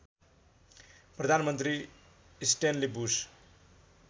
प्रधानमन्त्री Stanley Bruce